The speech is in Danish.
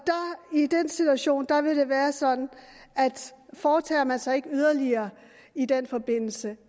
i den situation vil det være sådan at foretager man sig ikke yderligere i den forbindelse